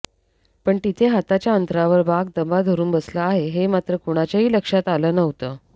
पण तिथे हाताच्या अंतरावर वाघ दबा धरून बसला आहे हे मात्र कुणाच्याही लक्षात आलं नव्हतं